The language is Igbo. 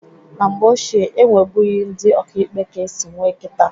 Na mgbe ochie e nwebughi ndị ọkaikpe ka esi nwee kịta.